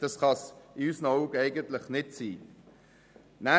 Das kann es in unseren Augen nicht sein.